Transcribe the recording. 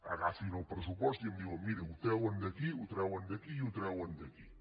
agafin el pressupost i em diuen miri ho treuen d’aquí ho treuen d’aquí i ho treuen d’aquí